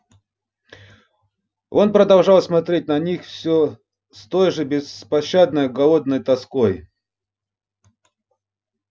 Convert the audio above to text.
он продолжал смотреть на них всё с той же беспощадной голодной тоской